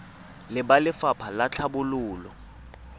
le ba lefapha la tlhabololo